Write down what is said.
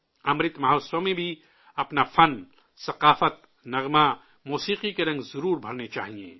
امرت مہوتسو میں بھی اپنے فن، ثقافت، گیت، موسیقی کے رنگ ضرور بھرنے چاہئیں